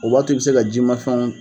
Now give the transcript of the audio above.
O b'a to i bɛ se ka jiman fɛnw